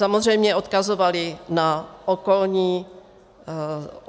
Samozřejmě odkazovali na okolní země.